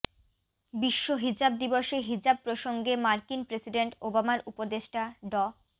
বিশ্ব হিজাব দিবসে হিজাব প্রসঙ্গে মার্কিন প্রেসিডেন্ট ওবামার উপদেষ্টা ড